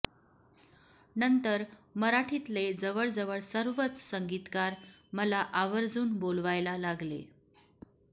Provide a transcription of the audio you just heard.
नंतर मराठीतले जवळजवळ सर्वच संगीतकार मला आवर्जून बोलवायला लागले